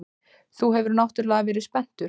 Þú hefur náttúrlega verið spenntur.